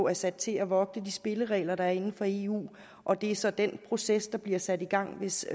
er sat til at vogte de spilleregler der er inden for eu og det er så den proces der bliver sat i gang hvis